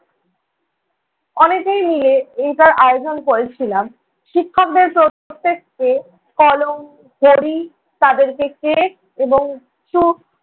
অনেকেই মিলে এইটার আয়োজন করেছিলাম, শিক্ষকদের প্রত্যেককে কলম ঘড়ি তাঁদেরকে crest এবং